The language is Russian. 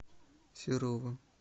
серовым